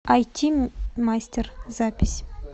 айти мастер запись